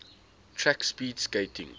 track speed skating